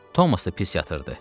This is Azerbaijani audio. Tomas da pis yatırdı.